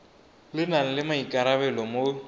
le nang le maikarabelo mo